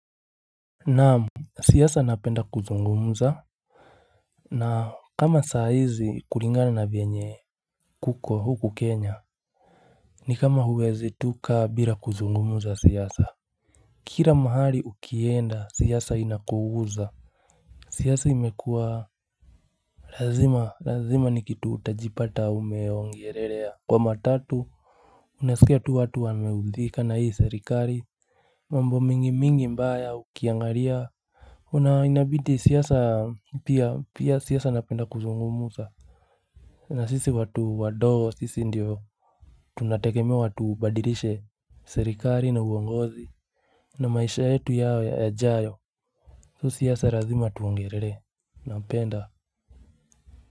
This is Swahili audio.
Naam, siasa napenda kuzungumza na kama saa hizi kulingana na venye kuko huku Kenya ni kama huwezi tu kaa bila kuzungumza siasa Kila mahali ukienda siasa inakuguza siasa imekuwa lazima, lazima ni kitu utajipata umeongelelea, kwa matatu unasikia tu watu wameudhika na hii selikali mambo mingi mingi mbaya ukiangalia Inabidi siasa pia siasa napenda kuzungumza na sisi watu wa doo sisi ndio Tunategemewa tubadilishe serikali na uongozi na maisha yetu yawe yajayo. So siasa lazima tuongelele, napenda.